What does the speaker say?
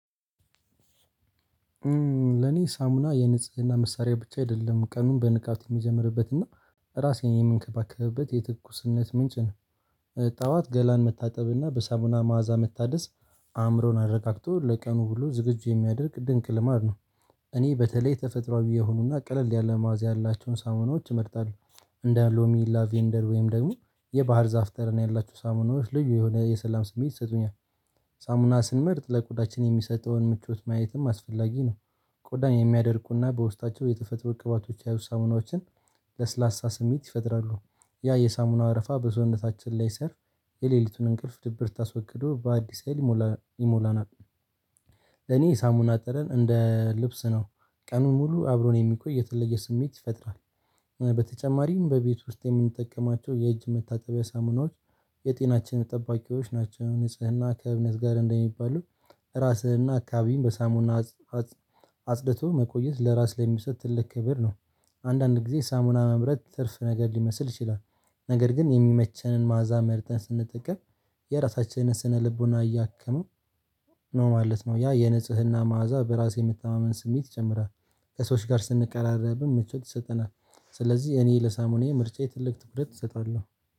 ለኔ ሳሙና የንጽህና መሳሪያ ብቻ አይደለም ቀኑን በንቃት የምጀምርበት እና ራሴን የምንከባከብበት የትኩስነት ምንጭ ነው። ጠዋት ገላን መታጠብ እና በሳሙና መዓዛ መታደስ አእምሮን አረጋግቶ ለቀኑ ዉሎ ዝግጁ የሚያደርግ ድንቅ ልማድ ነው። እኔ በተለይ ተፈጥሮአዊ የሆኑና ቀለል ያለ ማዕዛ ያላቸውን ሳሙናዎች እመርጣለሁ። እንደ ሎሚ ላቬንደር ወይም ደግሞ የባህር ዛፍ ጠረን ያላቸው ሳሙናዎች ልዩ የሆነ የሰላም ስሜት ይሰጡኛል። ሳሙና ስንመርጥ ለቆዳችን የሚሰጠውን ምቾት ማየትም አስፈላጊ ነው። ቆዳን የሚያደርቁና በውስጣቸው የተፈጥሮ ቅባቶች ያሉ ሳሙናዎችን። ለስላሳ ስሜት ይፈጥራሉ። ያ የሳሙናው አረፋ በሰዉነታችን ላይ ስር የሌሊቱን እንቅልፍ ድብርት አስወግዶ በአዲስ ሀይል ይሞላናል። ለኔ ሳሙና ጠረን እንደ ልብስ ነው። ቀኑን ሙሉ አብሮኝ የሚቆይ የተለየ ስሜት ይፈጥራል። በተጨማሪም በቤት ውስጥ የምንጠቀማቸው የእጅ መታጠቢያ ሳሙናዎች የጤናችን ጠባቂዎች ናቸው። ንጽህና ከእምነት ጋር እንደሚባሉ ራስንና አካባቢም በሳሙና። አጽድቶ መቆየት ለራስ ላይ የሚሰጥ ትልቅ ክብር ነው። አንዳንድ ጊዜ ሳሙና መምረጥ ትርፍ ነገር ሊመስል ይችላል። ነገር ግን የሚመቸንን መዓዛ መርጠን ስንጠቀም የራሳችንን ስነልቦና እያከሙ ነው ማለት ነው። ያ የንጽህና መዓዛ በራስ የመተማመን ስሜት ይጨምራል። ከሰዎች ጋር ስንቀራረብ ምቾት ይሰጠናል። ስለዚህ እኔ ለሳሙና ምርጫዬ ትልቅ ትኩረት እሰጣለሁ።